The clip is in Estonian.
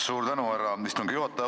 Suur tänu, härra istungi juhataja!